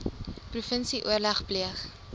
provinsie oorleg pleeg